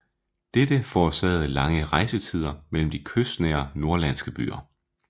Detta forårsagede lange rejsetider mellem de kystnære norrlandske byer